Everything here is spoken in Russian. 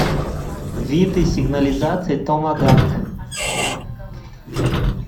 виды сигнализаций томагавк